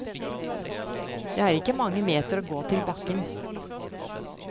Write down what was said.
Det er ikke mange meter å gå til bakken.